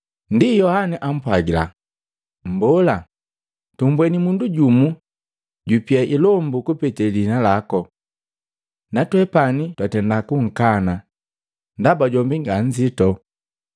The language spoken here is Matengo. Ndi Yohana ampwagila, “Mbola, tumbweni mundu jumu jupia ilombu kupete liina lako. Na twepani twatenda kunkana ndaba jombi nganzito.”